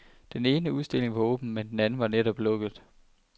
Den ene udstilling var åben, men den anden var netop lukket.